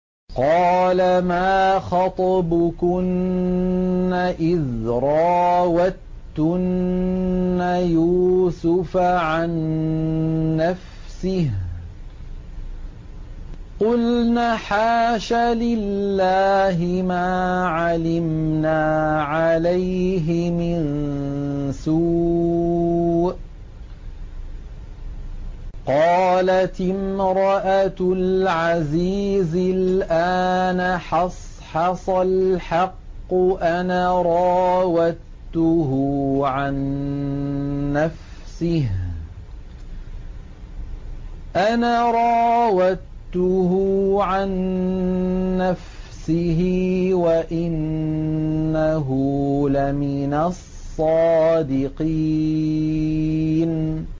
قَالَ مَا خَطْبُكُنَّ إِذْ رَاوَدتُّنَّ يُوسُفَ عَن نَّفْسِهِ ۚ قُلْنَ حَاشَ لِلَّهِ مَا عَلِمْنَا عَلَيْهِ مِن سُوءٍ ۚ قَالَتِ امْرَأَتُ الْعَزِيزِ الْآنَ حَصْحَصَ الْحَقُّ أَنَا رَاوَدتُّهُ عَن نَّفْسِهِ وَإِنَّهُ لَمِنَ الصَّادِقِينَ